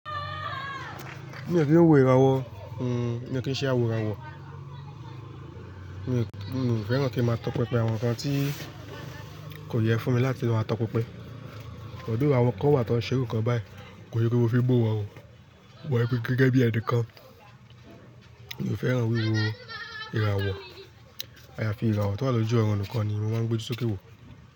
Mi ò kin wò ìràwọ̀, mi ò kí ń ṣe àwo ìràwọ̀. Mi ò fẹ́ràn kí ń máa tọpinpin àwọn nǹkan tí kò yẹ fún mi láti máa tọpinpin. Although àwọn kan wà tí wọ́n ń ṣe irú ǹkan báyìí, kò kí ṣe pé mo fi ń buwọ̀n ò, wọ̀ ẹ́ gẹ́gẹ́ bí ẹ̀ni kan. Mi ò fẹ́ràn wíwo ìràwọ̀. Ayàfi ìràwọ̀ tó bá lọ jú ọrùn nǹkan ni mo máa ń gbé ojú sókè wò.